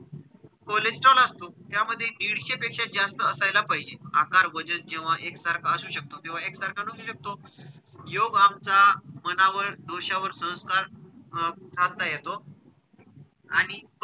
Cholesterol असतो. त्यामध्ये दीडशे पेक्षा जास्त असायला पाहिजे. आकार, वजन जेव्हा एकसारखा असू शकतो किंवा एकसारखा नसू शकतो. योग आमचा मनावर दोषावर संस्कार अं साधता येतो आणि,